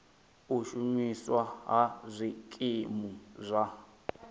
u shumiswa ha zwikimu zwa